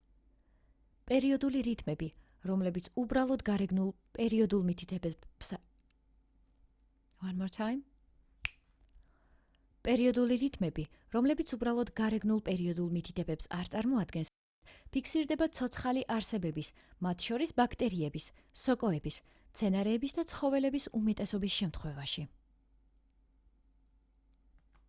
პერიოდული რიტმები რომლებიც უბრალოდ გარეგნულ პერიოდულ მითითებებს არ წარმოადგენს ფიქსირდება ცოცხალი არსებების მათ შორის ბაქტერიების სოკოების მცენარეების და ცხოველების უმეტესობის შემთხვევაში